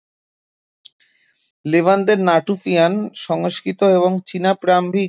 লেভান্তের নাটুফিয়ান সংস্কৃতি এবং চীনের প্রারম্ভিক